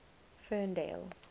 ferndale